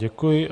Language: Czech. Děkuji.